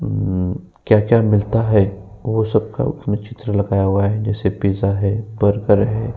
ऊ क्या-क्या मिलता है। वह सब का चित्र लगाया हुआ है। जैसे पिज्जा है। बर्गर है।